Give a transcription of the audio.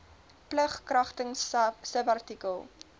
plig kragtens subartikel